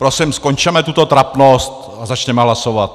Prosím, skončeme tuto trapnost a začněme hlasovat.